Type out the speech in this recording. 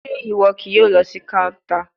Ṣe iwọ kii yoo lọ si counter?